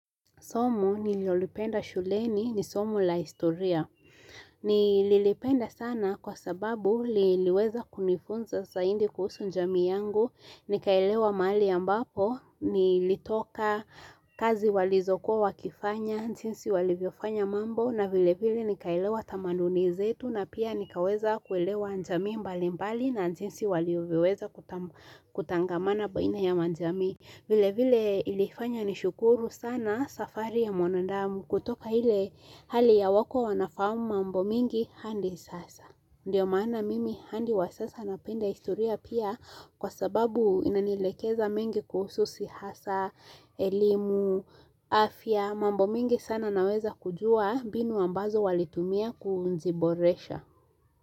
Somo nililolipenda shuleni ni somo la historia. Nililipenda sana kwa sababu liliweza kunifunza zaidi kuhusu jamii yangu. Nikaelewa mahali ambapo, nilitoka kazi walizokuwa wakifanya, jinsi walivyofanya mambo, na vile vile nikaelewa tamaduni zetu na pia nikaweza kuelewa jamii mbalimbali na jinsi walivyoweza kuta kutangamana baina ya majamii. Vilevile ilifanya nishukuru sana safari ya mwanadamu kutoka ile hali ya hawakuwa wanafahamu mambo mingi hadi sasa. Ndiyo maana mimi hadi wa sasa napenda historia pia kwa sababu inanielekeza mengi kuhusu siasa, elimu, afya. Mambo mingi sana naweza kujua mbinu ambazo walitumia kuziboresha.